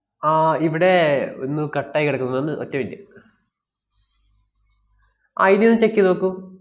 ആഹ് ഇവിടെ ഒന്ന് cut ആയി കെടക്കുന്നു, ഒന്ന് ഒറ്റ minute ആഹ് ഇനിയൊന്ന് check ചെയ്ത് നോക്കൂ.